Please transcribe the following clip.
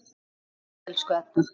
Takk fyrir allt, elsku Edda.